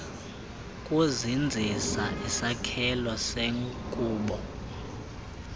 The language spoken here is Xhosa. kuzinzisa isakhelo senkubo